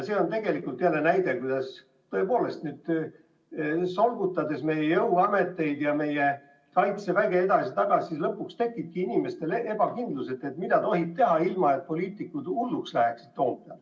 See on tegelikult näide, kuidas meie jõuameteid ja Kaitseväge edasi-tagasi solgutades lõpuks tekibki inimestes ebakindlus, et mida siis tohib teha, ilma et poliitikud Toompeal hulluks läheks.